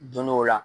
Don dɔ la